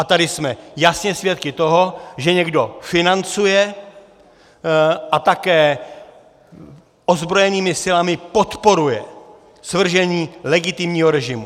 A tady jsme jasně svědky toho, že někdo financuje a také ozbrojenými silami podporuje svržení legitimního režimu.